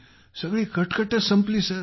सगळी कटकटच संपली सर